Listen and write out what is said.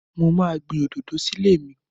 Mo máa gbìn òdòdó sí ilé mi.